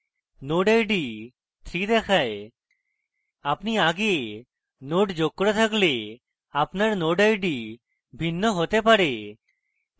node id 3 দেখায় আপনি আগে অন্য node যোগ করে থাকলে আপনার node আইডি ভিন্ন হতে পারে